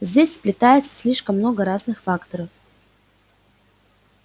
здесь сплетается слишком много разных факторов